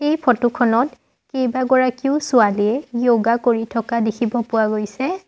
এই ফটো খনত কেইবাগৰাকীও ছোৱালীয়ে য়োগা কৰি থকা দেখিব পোৱা গৈছে।